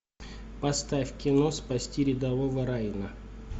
поставь кино спасти рядового райана